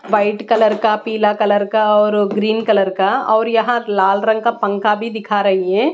White colour का पीला colour का और ग्रीन कलर का और यहां लाल रंग का पंखा भी दिखा रही है।